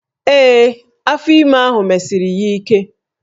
Ee, afọ ime ahụ mesiri ya ike